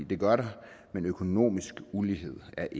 det gør der men økonomisk ulighed er